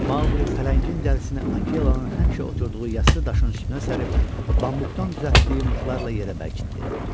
Maquli pələngin dərisini Akelanın həmişə oturduğu yassı daşın üstünə sərib bambuqdan düzəltdiyi mıxlarla yerə bərkitdi.